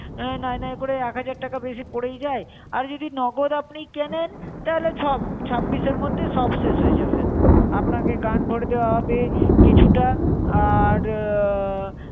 আহ নয় নয় করে এক হাজার টাকা বেশি পড়েই যায়। আর যদি নগদ আপনি কেনেন তাহলে ছাব্বিশ এর মধ্যে সব শেষ হয়ে যাবে। আপনাকে গান ভরে দেওয়া হবে কিছুটা, আর আহ